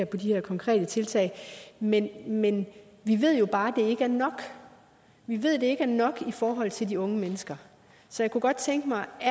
på de her konkrete tiltag men men vi ved jo bare at det ikke er nok vi ved det ikke er nok i forhold til de unge mennesker så jeg kunne godt tænke mig at